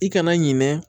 I kana ɲinɛ